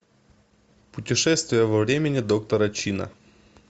путешествие во времени доктора чина